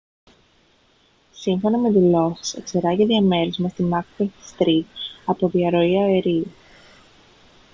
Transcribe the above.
σύμφωνα με δηλώσεις εξερράγη διαμέρισμα στη macbeth street από διαρροή αερίου